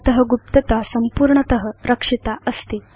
भवत गुप्तता इदानीं संपूर्णत रक्षिता अस्ति